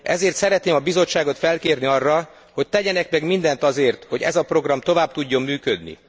Ezért szeretném a Bizottságot felkérni arra, hogy tegyenek meg mindent azért, hogy ez a program tovább tudjon működni.